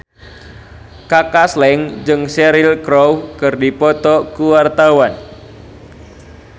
Kaka Slank jeung Cheryl Crow keur dipoto ku wartawan